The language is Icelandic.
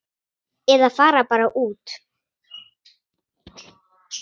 Eða fara bara út.